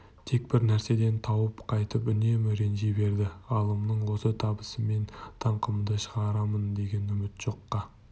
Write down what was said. тек бір нәрседен тауы қайтып үнемі ренжи берді ғалымның осы табысыммен даңқымды шығарамын деген үміті жоққа